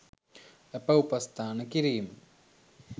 ඇප උපස්ථාන කිරීම